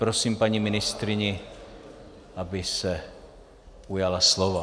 Prosím, paní ministryně, abyste se ujala slova.